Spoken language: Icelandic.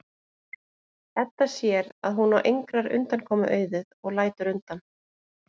Edda sér að hún á engrar undankomu auðið og lætur undan.